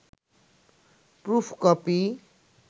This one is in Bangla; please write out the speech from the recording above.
proof copy